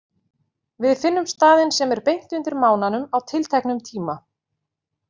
Við finnum staðinn sem er beint undir mánanum á tilteknum tíma.